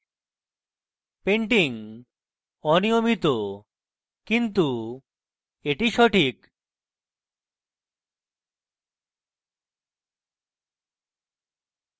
painting অনিয়মিত কিন্তু এটি সঠিক